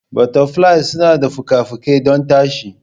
Butterflies suna da fuka-fuki don tashi.